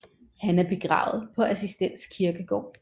Han er begravet på Assistens Kirkegård